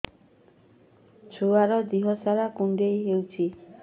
ଛୁଆର୍ ଦିହ ସାରା କୁଣ୍ଡିଆ ହେଇଚି